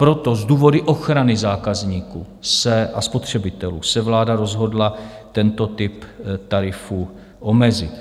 Proto z důvodu ochrany zákazníků a spotřebitelů se vláda rozhodla tento typ tarifu omezit.